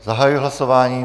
Zahajuji hlasování.